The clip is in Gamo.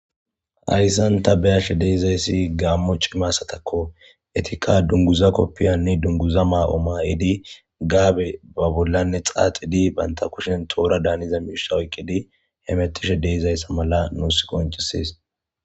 Hayssan ta beashe deezayssi gaammo cimassatakko etika dunguza koppiyanni dunguza maa'oma'edi gaabe ba bollanne xaaxidi banta kushen toora daaniza miishsa oyqqidi hemettishe deezayssa mala nuus koncisis.